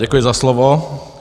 Děkuji za slovo.